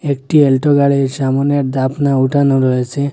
একটি আল্টো গাড়ির সামোনের ডাফনা উঠানো রয়েছে।